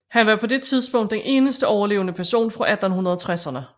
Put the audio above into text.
Han var på det tidspunkt den eneste overlevende person fra 1860erne